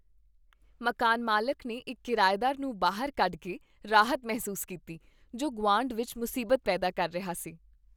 ਮਕਾਨ ਮਾਲਕ ਨੇ ਇੱਕ ਕਿਰਾਏਦਾਰ ਨੂੰ ਬਾਹਰ ਕੱਢ ਕੇ ਰਾਹਤ ਮਹਿਸੂਸ ਕੀਤੀ ਜੋ ਗੁਆਂਢ ਵਿੱਚ ਮੁਸੀਬਤ ਪੈਦਾ ਕਰ ਰਿਹਾ ਸੀ।